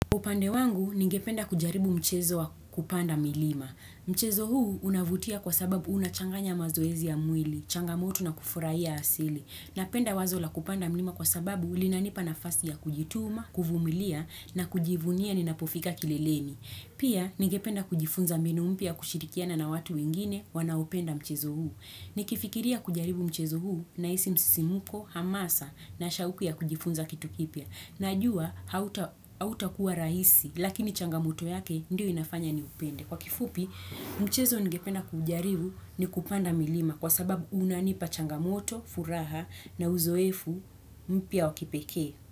Upande wangu ningependa kujaribu mchezo wa kupanda milima. Mchezo huu unavutia kwa sababu unachanganya mazoezi ya mwili, changamoto na kufurahia ya asili. Napenda wazo la kupanda milima kwa sababu linanipa nafasi ya kujituma, kuvumilia na kujivunia ni napofika kileleni. Pia ningependa kujifunza mninu mpya ya kushirikiana na watu wengine wanaopenda mchezo huu. Nikifikiria kujaribu mchezo huu nahisi msimuko, hamasa na shauku ya kujifunza kitu kipya. Najua, hautakuwa rahisi, lakini changamoto yake ndio inafanya niupende. Kwa kifupi, mchezo ningependa kujaribu ni kupanda milima kwa sababu unanipa changamoto, furaha na uzoefu mpya wa kipekee.